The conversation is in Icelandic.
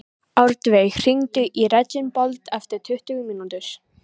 Árveig, hringdu í Reginbald eftir tuttugu mínútur.